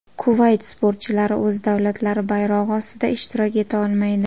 Kuvayt sportchilari o‘z davlatlari bayrog‘i ostida ishtirok eta olmaydi.